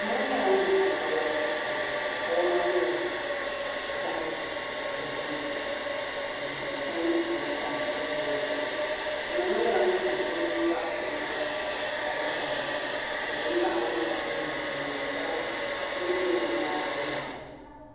Ma ŋɔ nyɛla ŋun tam kawana kurufootu zuɣu kawana ŋɔ nyɛla zaɣ' dɔzim m-be pain puuni tam buɣim ŋɔ zuɣu ma ŋɔ nyɛla ŋun zaŋ o nuu pa o naba zuɣu ka lihiri li ŋun ʒi m-baɣi o ŋɔ nyɛla ŋun ye neen' sabila ka yili be bɛ nyaaŋa maa